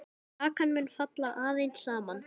Kakan mun falla aðeins saman.